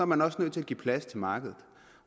man også nødt til at give plads til markedet